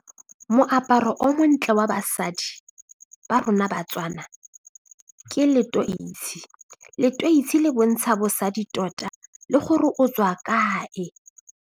Moaparo o montle wa basadi ba rona Batswana ke leteisi, leteisi le bontsha bosadi tota le gore o tswa kae.